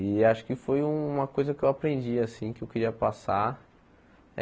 E acho que foi uma coisa que eu aprendi assim, que eu queria passar.